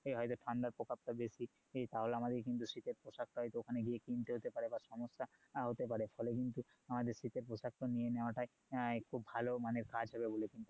হয়তো ঠান্ডার প্রকোপ তা বেশি তাহলে আমাদেরকে কিন্তু শীতের পোশাকটা হয়তো কিনতে হতে পারে বা সমস্যা হতে পারে ফলে কিন্তু আমাদের শীতের পোশাক টা নিয়ে নেওয়া টাই খুব ভালো কাজ হবে মানে